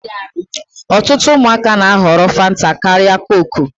Ọtụtụ ụmụaka na-ahọrọ fanta karịa kook.